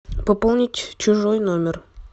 пополнить чужой номер